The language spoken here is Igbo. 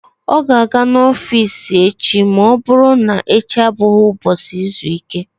Ọ ga-aga n'ọfiisi echi ma ọ bụrụ na echi abụghị ụbọchị izu ike.